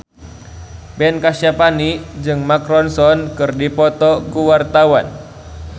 Ben Kasyafani jeung Mark Ronson keur dipoto ku wartawan